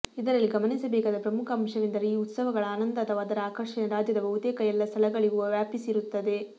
ಇದರಲ್ಲಿ ಗಮನಿಸಬೇಕಾದ ಪ್ರಮುಖ ಅಂಶವೆಂದರೆ ಈ ಉತ್ಸವಗಳ ಆನಂದ ಅಥವಾ ಅದರ ಆಕರ್ಷಣೆ ರಾಜ್ಯದ ಬಹುತೇಕ ಎಲ್ಲ ಸ್ಥಳಗಳಿಗೂ ವ್ಯಾಪಿಸಿರುತ್ತದೆ